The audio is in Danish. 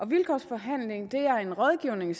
vilkårsforhandling det er en rådgivning